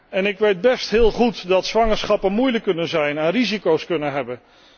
En ik weet heel goed dat zwangerschappen moeilijk kunnen zijn en risico's kunnen hebben.